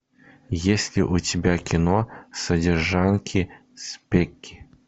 есть ли у тебя кино содержанки спекки